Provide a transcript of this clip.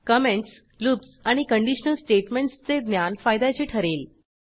comments loops आणि conditional स्टेटमेंटसचे ज्ञान फायद्याचे ठरेल